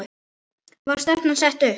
Var stefnan sett upp?